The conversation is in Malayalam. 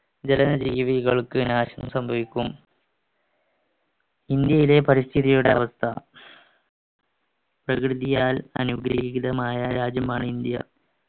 ജലനജീവികൾക്ക് നാശം സംഭവിക്കും ഇന്ത്യയുടെ പരിസ്ഥിതിയുടെ അവസ്ഥ പ്രകൃതിയാൽ അനുഗ്രഹീതമായ രാജ്യമാണ് ഇന്ത്യ